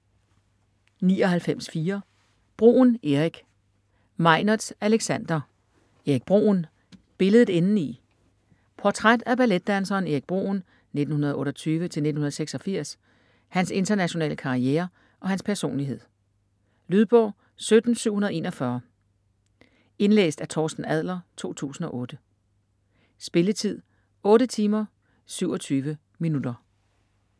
99.4 Bruhn, Erik Meinertz, Alexander: Erik Bruhn: billedet indeni Portræt af balletdanseren Erik Bruhn (1928-1986), hans internationale karriere og hans personlighed. Lydbog 17741 Indlæst af Torsten Adler, 2008. Spilletid: 8 timer, 27 minutter.